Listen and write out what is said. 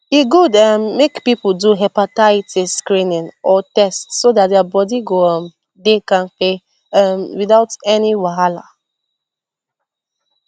e good um make people do hepatitis screening or test so that their body go um dey kampe um without any wahala